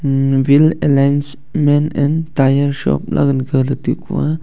um wheel alignment and tyre shop ley gan galey taikua.